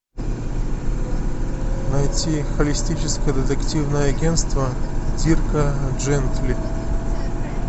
найти холистическое детективное агентство дирка джентли